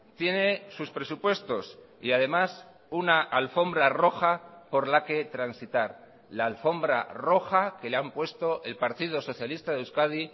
tiene sus presupuestos y además una alfombra roja por la que transitar la alfombra roja que le han puesto el partido socialista de euskadi